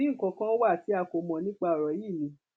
àbí nǹkan kan wà tí a kò mọ nípa ọrọ yìí ni